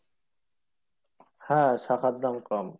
হ্যাঁ শাখার দাম কম